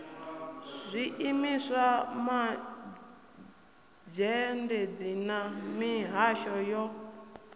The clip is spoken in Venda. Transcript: zwiimiswa mazhendedzi na mihasho yo